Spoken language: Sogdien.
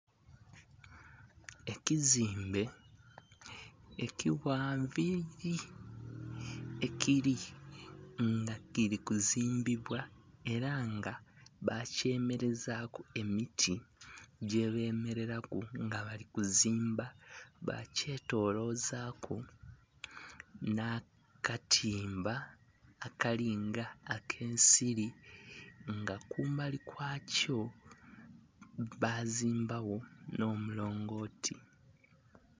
Ekizimbe ekighanvu liri ekiri nga kirikuzimbibwa era nga bakyemerezaku emiti gyebemereraku nga bali kuzimba bakyetolozaku nhakatimba akali nga akensiri nga kumbali kwakyo bazimbagho nh'omulongoti.